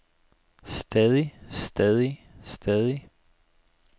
stadig stadig stadig